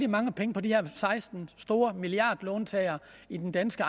mange penge på de her seksten store milliardlåntagere i den danske